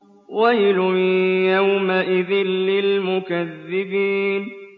وَيْلٌ يَوْمَئِذٍ لِّلْمُكَذِّبِينَ